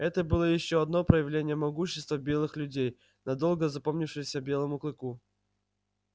это было ещё одно проявление могущества белых людей надолго запомнившееся белому клыку